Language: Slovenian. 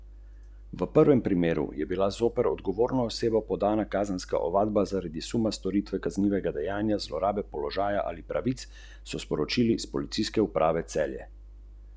Ali znamo vzpostaviti odnos, dialogizirati s tistim, kar preberemo?